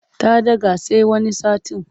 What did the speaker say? Ta ɗaga sai wani satin.